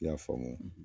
I y'a faamu